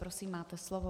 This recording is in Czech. Prosím, máte slovo.